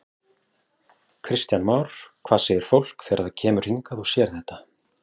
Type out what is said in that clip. Kristján Már: Hvað segir fólk þegar það kemur hingað og sér þetta?